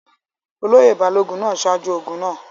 olóyè balógun náà ṣáájú ogun náà